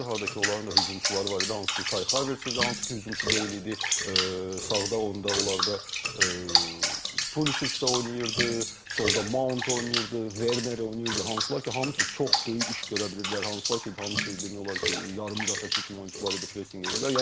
Harda ki, onların da hücumçuları var idi, hansı ki Kai Harvetz idi, hansı ki hücumçu deyil idi, sağda onda onlarda Puliç də oynayırdı, solda Maunt oynayırdı, Werner oynayırdı, hansılar ki, hamısı çox böyük iş görə bilirdilər, hansılar ki, hamısı demək olar ki, yarım müdafiəçi kimi oyunçular idi, presinq edirdilər.